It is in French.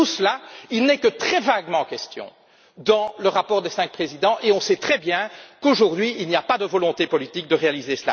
Or, de tout cela, il n'en est que très vaguement question dans le rapport des cinq présidents, et on sait très bien qu'aujourd'hui, il n'existe pas de volonté politique en ce sens.